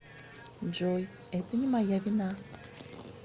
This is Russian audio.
джой это не моя вина